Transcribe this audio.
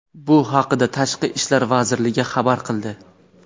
Bu haqida Tashqi ishlar vazirligi xabar qildi.